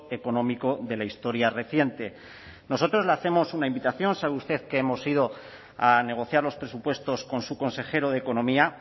económico de la historia reciente nosotros le hacemos una invitación sabe usted que hemos ido a negociar los presupuestos con su consejero de economía